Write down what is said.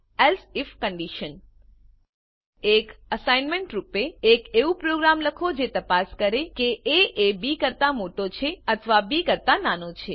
else if એક assignment રૂપે એક એવું પ્રોગ્રામ લખો જે તપાસ કરે કે એ એ બી કરતા મોટો છે અથવા બી કરતા નાનો છે